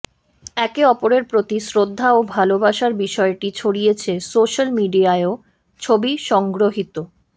একে অপরের প্রতি শ্রদ্ধা ও ভালবাসার বিষয়টি ছড়িয়েছে সোশ্যাল মিডিয়ায়ও ছবি সংগৃহীত